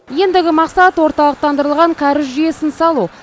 ендігі мақсат орталықтандырылған кәріз жүйесін салу